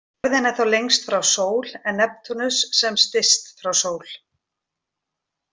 Jörðin er þá lengst frá sól en Neptúnus sem styst frá sól.